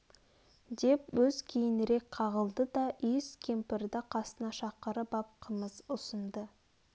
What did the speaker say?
деп өз кейінрек қағылды да иіс кемпірді қасына шақырып ап қымыз ұсынды